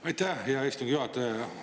Aitäh, hea istungi juhataja!